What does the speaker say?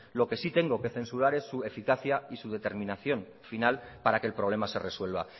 lo que sí que tengo que censurar es su eficacia y su determinación final para que el problema se resuelva